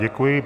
Děkuji.